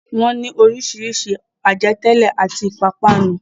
Wọ́n ní oríṣiríṣi àjẹtẹ́lẹ̀ àti ìpápánu.